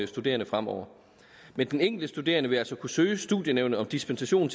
studerende fremover men den enkelte studerende vil altså kunne søge studienævnet om dispensation